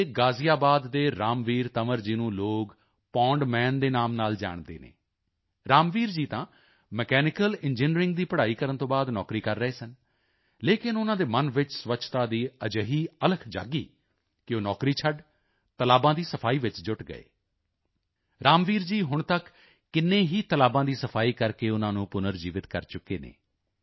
ਦੇ ਗ਼ਾਜ਼ੀਆਬਾਦ ਦੇ ਰਾਮਵੀਰ ਤੰਵਰ ਜੀ ਨੂੰ ਲੋਕ ਪੌਂਡ ਮਾਨ ਦੇ ਨਾਂ ਨਾਲ ਜਾਣਦੇ ਹਨ ਰਾਮਵੀਰ ਜੀ ਤਾਂ ਮਕੈਨੀਕਲ ਇੰਜੀਨੀਅਰਿੰਗ ਦੀ ਪੜ੍ਹਾਈ ਕਰਨ ਤੋਂ ਬਾਅਦ ਨੌਕਰੀ ਕਰ ਰਹੇ ਸਨ ਲੇਕਿਨ ਉਨ੍ਹਾਂ ਦੇ ਮਨ ਵਿੱਚ ਸਵੱਛਤਾ ਦੀ ਅਜਿਹੀ ਅਲਖ ਜਾਗੀ ਕਿ ਉਹ ਨੌਕਰੀ ਛੱਡ ਤਲਾਬਾਂ ਦੀ ਸਫ਼ਾਈ ਵਿੱਚ ਜੁਟ ਗਏ ਰਾਮਵੀਰ ਜੀ ਹੁਣ ਤੱਕ ਕਿੰਨੇ ਹੀ ਤਲਾਬਾਂ ਦੀ ਸਫ਼ਾਈ ਕਰਕੇ ਉਨ੍ਹਾਂ ਨੂੰ ਪੁਨਰਜੀਵਿਤ ਕਰ ਚੁੱਕੇ ਹਨ